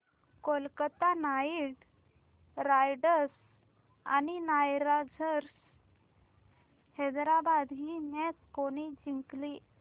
Kolkata Knight Riders आणि Sunrisers Hyderabad ही match कोणी जिंकली